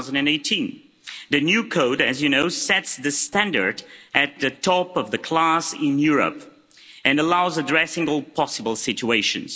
2018. The new Code, as you know, sets the standard at the top of the class in Europe and makes it possible to address all possible situations.